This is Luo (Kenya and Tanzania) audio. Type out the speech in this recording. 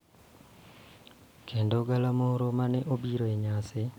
Kendo galamoro mane obiro e nyasi.